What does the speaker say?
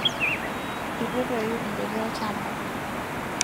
itu etoyu idaiki olshamba